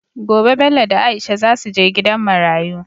Gobe Bello da aisha zasu je gidan marayu